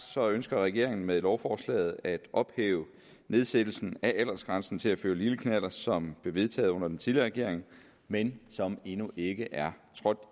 ønsker regeringen med lovforslaget at ophæve nedsættelsen af aldersgrænsen til at føre lille knallert som blev vedtaget under den tidligere regering men som endnu ikke er trådt